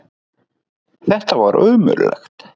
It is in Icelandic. Þetta var ömurlegt.